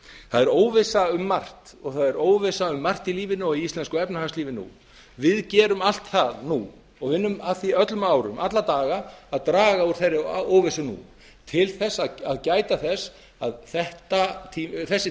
það er óvissa um margt og það er óvissa um margt í lífinu og íslensku efnahagslífi nú við gerum allt það nú og vinnum að því öllum árum alla daga að draga úr þeirri óvissu nú til að gæta þessi að þessi